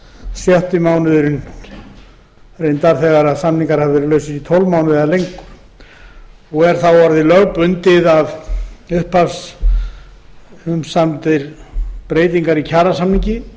sjötti mánuðurinn bætist svo við þegar samningar hafa verið lausir í tólf mánuði eða lengur er þá orðið lögbundið að umsamdar breytingar í kjarasamningi